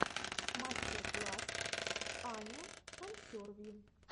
мастер класс аня консерви